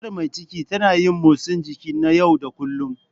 Matar mai ciki ta na yin motsa jiki na yau da kullun.